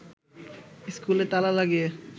স্কুলে তালা লাগিয়ে